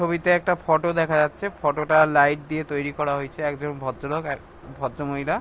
ছবিতে একটা ফটো দেখা যাচ্ছে ফটো -টা লাইট দিয়ে তৈরি করা হয়েছে একজন ভদ্রলোক আ ভদ্রমহিলা--